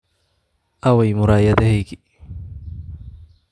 aaway muraayadahaygii